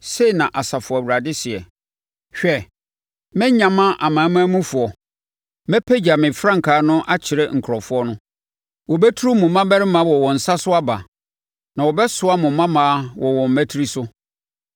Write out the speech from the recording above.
Sei na Asafo Awurade seɛ: “Hwɛ, mɛnyama amanamanmufoɔ, mɛpagya me frankaa no akyerɛ nkurɔfoɔ no. Wɔbɛturu mo mmammarima wɔ wɔn nsa so aba na wɔbɛsoa mo mmammaa wɔ wɔn mmatire so.